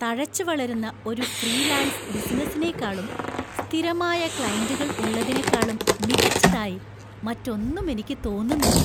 തഴച്ചുവളരുന്ന ഒരു ഫ്രീലാൻസ് ബിസിനസ്സിനേക്കാളും, സ്ഥിരമായ ക്ലയന്റുകൾ ഉള്ളതിനെക്കാളും മികച്ചതായി മറ്റൊന്നും എനിക്ക് തോന്നുന്നില്ല.